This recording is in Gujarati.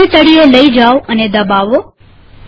માઉસને તળિયે લઇ જાઓ અને દબાવો